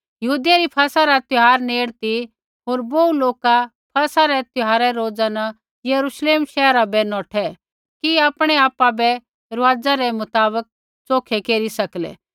यहूदियै री फसह रा त्यौहार नेड़ ती होर बोहू लोका फसह रै पैहलै रोजा न यरूश्लेम शैहरा बै नौठै कि आपणै आपा बै रुआज़ा रै मुताबक च़ोखै केरी सकलै